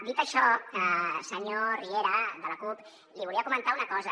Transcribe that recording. dit això senyor riera de la cup li volia comentar una cosa